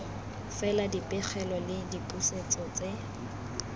fela dipegelo le dipusetso tse